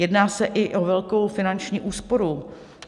Jedná se i o velkou finanční úsporu.